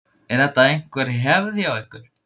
Er þetta einhver hefð hjá ykkur?